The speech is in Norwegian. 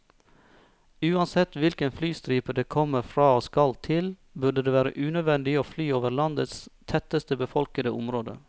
Uansett hvilken flystripe det kommer fra og skal til, burde det være unødvendig å fly over landets tettest befolkede område.